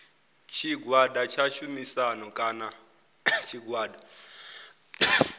tshigwada tsha tshumisano kana tshigwada